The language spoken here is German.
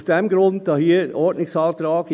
Aus diesem Grund der Ordnungsantrag.